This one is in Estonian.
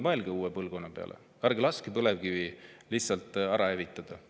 Mõelge uue põlvkonna peale ja ärge laske põlevkivisektorit lihtsalt ära hävitada.